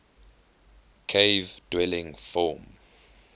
cave dwelling form